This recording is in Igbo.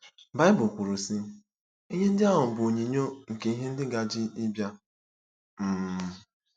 Baịbụl kwuru, sị: “ Ihe ndị ahụ bụ onyinyo nke ihe ndị gaje ịbịa.” um